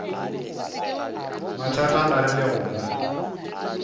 mathata a rile go mo